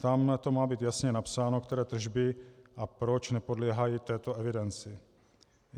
Tam to má být jasně napsáno, které tržby a proč nepodléhají této evidenci.